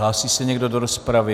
Hlásí se někdo do rozpravy?